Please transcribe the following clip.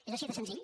és així de senzill